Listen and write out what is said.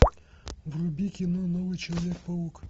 вруби кино новый человек паук